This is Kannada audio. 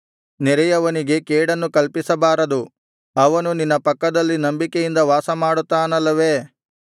ನೆರೆಯವನಿಗೆ ಕೇಡನ್ನು ಕಲ್ಪಿಸಬಾರದು ಅವನು ನಿನ್ನ ಪಕ್ಕದಲ್ಲಿ ನಂಬಿಕೆಯಿಂದ ವಾಸಮಾಡುತ್ತಾನಲ್ಲವೇ